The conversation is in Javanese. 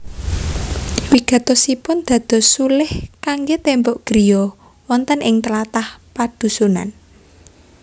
Wigatosipun dados sulih kanggé témbok griya wonten ing tlatah padhusunan